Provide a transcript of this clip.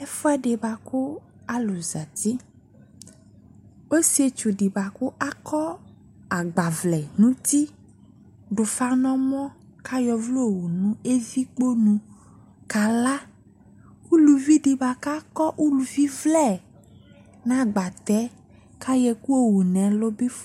Ɛfuɛ boako alu zati Ɔsietsu boako akɔ agbavlɛ no uti do ufa no ɔmɔ, ko ayɔ ɔvlɛ yɔwu evikponu kala Uluvi de boa ka kɔ uluvlɛ no agbatɛ ko ayɔ ɛku yɔwu no ɛlu be ff